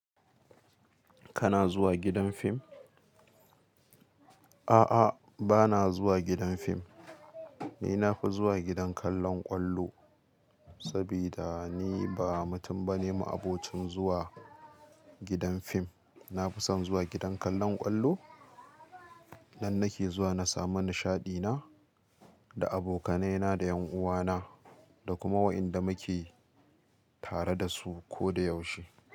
Kana zuwa gidan fim? A'a, bana zuwa gidan fim. Ni nafi zuwa gidan kallon ƙwallo, saboda ni ba mutum bane ma'abocin zuwa gidan fim. Nafi son zuwa gidan kallon ƙwallo nan nake zuwa na samu nishaɗi na. Da abokanai na da ƴan'uwa na, da kuma wa'inda muke tare da su ko da yaushe.